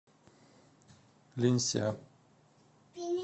линься